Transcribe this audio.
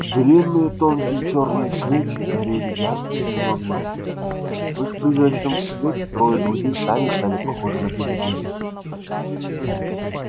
длинные тонкие чёрные свечи горели ярко-синим огнём в их призрачном свете трое друзей сами стали похожи на привидения